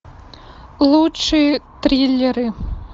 лучшие триллеры